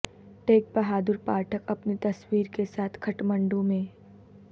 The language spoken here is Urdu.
ٹیک بہادر پاٹھک اپنی تصویر کے ساتھ کھٹمنڈو میں